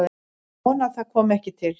Ég vona að það komi ekki til.